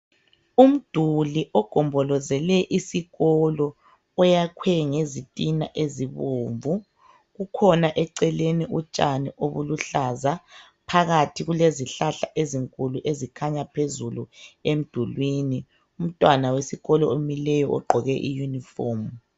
Umduli ogombolozele isikolo oyakhwe ngezitina ezibomvu kukhona eceleni utshani obuluhlaza phakathi kulezihlahla ezinkulu ezikhanya phezulu emdulini umntwana wesikolo omileyo ogqoke iyunifomu.